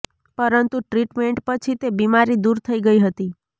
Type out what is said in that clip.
પરંતુ ટ્રીટમેન્ટ પછી તે બીમારી દૂર થઈ ગઈ હતી